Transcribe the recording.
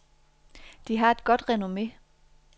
De har et godt renomme.